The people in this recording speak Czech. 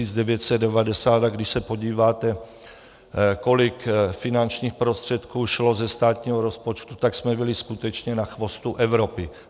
A když se podíváte, kolik finančních prostředků šlo ze státního rozpočtu, tak jsme byli skutečně na chvostu Evropy.